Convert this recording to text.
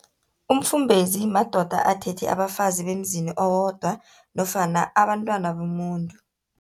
Umfumbezi, madoda athethe abafazi bemzini owodwa, nofana abantwana bomuntu.